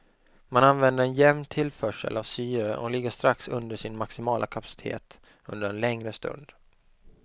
Man använder en jämn tillförsel av syre och ligger strax under sin maximala kapacitet under en längre stund.